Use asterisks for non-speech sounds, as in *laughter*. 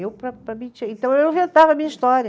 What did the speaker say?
Eu, *unintelligible* então eu inventava a minha história.